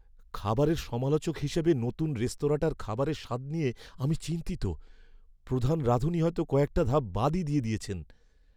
খাবারের সমালোচক হিসেবে নতুন রেস্তোরাঁটার খাবারের স্বাদ নিয়ে আমি চিন্তিত। প্রধান রাঁধুনি হয়তো কয়েকটা ধাপ বাদই দিয়ে দিয়েছেন।